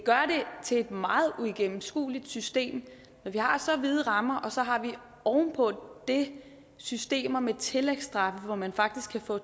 til et meget uigennemskueligt system når vi har så vide rammer og så har vi oven på det systemer med tillægsstraffe hvor man faktisk kan få